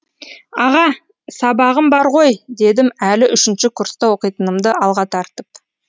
аға сабағым бар ғой дедім әлі үшінші курста оқитынымды алға тартып